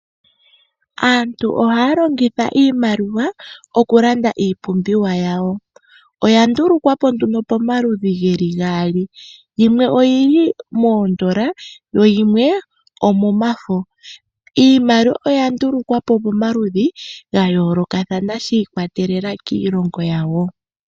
Aantu ohaya longitha iimaliwa okulanda iipumbiwa yawo. Oya ndulukwa po nduno pomaludhi gaali, yimwe oyi li moodollar yo yimwe omomafo. Iimaliwa oya ndulukwa po momaludhi ga yoolokathana shi ikwatelela kiilongo yawo.